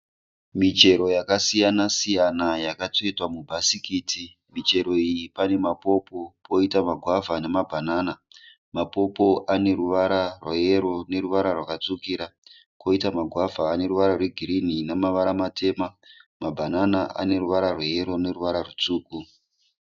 Michero yakasiyana-siyana yakatsvetwa mubhasikiti. Michero iyi pane mapopo, poita magwavha nemabhanana. Mapopo aneruvara rweyero neruvara rwakatsvukira koita magwavha aneruvara rwegirinhi nemavara matema. Mabhanana aneruvara rweyero neruvara rwutsvuku.